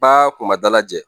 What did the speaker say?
Ba kun ma dalajɛ